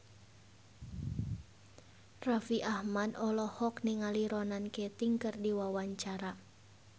Raffi Ahmad olohok ningali Ronan Keating keur diwawancara